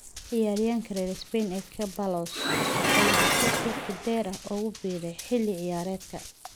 Ciyaaryahanka reer Spain ee Ceballos ayaa heshiis waqti dheer ah ugu biiray xilli ciyaareedkan.